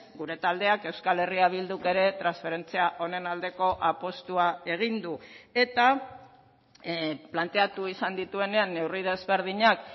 gure taldeak euskal herria bilduk ere transferentzia honen aldeko apustua egin du eta planteatu izan dituenean neurri desberdinak